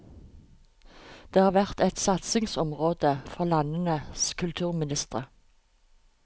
Det har vært et satsingsområde for landenes kulturministre.